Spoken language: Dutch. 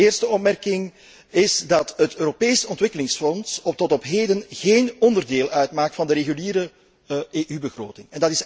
De eerste opmerking is dat het Europees Ontwikkelingsfonds tot op heden geen onderdeel uitmaakt van de reguliere EU begroting.